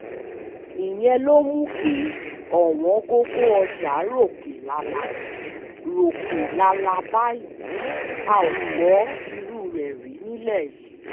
ìyẹn ló mú kí ọwọ̀ngọ̀gọ̀ ọjà ròkè lálá ròkè lálá báyìí a ò gbọ́ irú ẹ̀ rí nílẹ̀ yìí